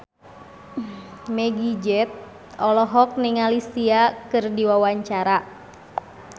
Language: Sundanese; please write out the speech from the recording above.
Meggie Z olohok ningali Sia keur diwawancara